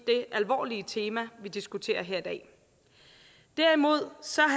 det alvorlige tema vi diskuterer her i dag derimod